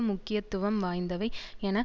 முக்கியத்துவம் வாய்ந்தவை என